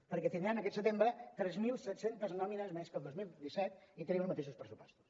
perquè tindrem aquest setembre tres mil set cents nòmines més que al dos mil disset i tenim els mateixos pressupostos